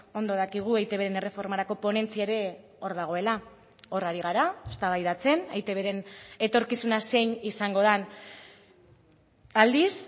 ondo dakigu eitbn erreformarako ponentzia ere hor dagoela hor hari gara eztabaidatzen eitbren etorkizuna zein izango den aldiz